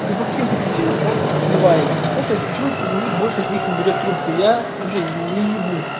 и по каким-то причинам он сливается ну то есть почему у мужчин больших не берет трубку я вообще не ибу